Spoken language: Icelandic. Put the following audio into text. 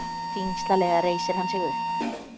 Þyngslalega reisir hann sig upp.